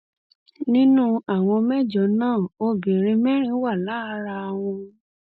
nínú àwọn mẹjọ náà obìnrin mẹrin wà lára wọn